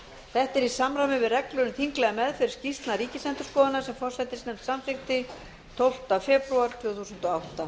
þetta er í samræmi við reglur um þinglega meðferð skýrslna ríkisendurskoðunar sem forsætisnefnd samþykkt tólfta febrúar tvö þúsund